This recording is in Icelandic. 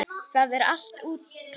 Það er allt útpælt.